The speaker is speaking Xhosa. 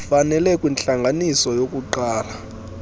fanele kwintlanganiso yokuqala